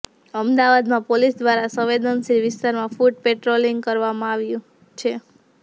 અમદાવાદમાં પોલીસ દ્વારા સંવેદનશીલ વિસ્તારમાં ફૂટ પેટ્રોલિંગ કરવામાં આવ્યુ છે